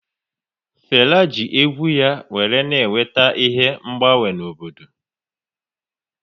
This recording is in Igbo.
Fela ji egwu ya wéré na eweta ihe mgbanwe n'obodo